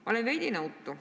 Ma olen veidi nõutu.